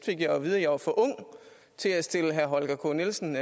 jeg jo at vide at jeg var for ung til at stille herre holger k nielsen